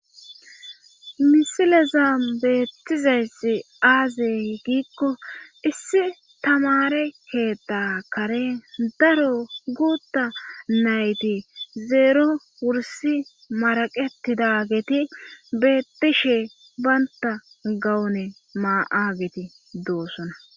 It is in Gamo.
misileza beettizayssi aazey giikko issi tamare heda kare daro guutta nayti zeero wursi maraqetida geeti bettishe baynta gawune maa7ageti doossona